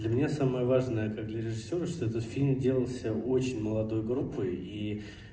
для меня самое важное как для режиссёра что этот фильм делался очень молодой группой и